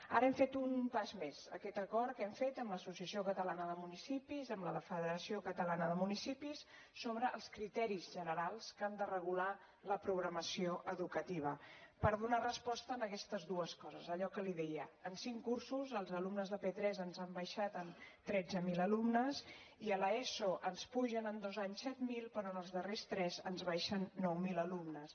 ara hem fet un pas més aquest acord que hem fet amb l’associació catalana de municipis amb la federació catalana de municipis sobre els criteris generals que han de regular la programació educativa per donar resposta a aquestes dues coses allò que li deia en cinc cursos els alumnes de p3 ens han baixat en tretze mil alumnes i a l’eso ens pugen en dos anys set mil però en els darrers tres ens baixen nou mil alumnes